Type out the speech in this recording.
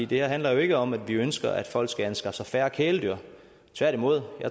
det her handler jo ikke om at vi ønsker at folk skal anskaffe sig færre kæledyr tværtimod